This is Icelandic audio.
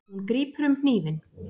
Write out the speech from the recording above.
Hún grípur um hnífinn.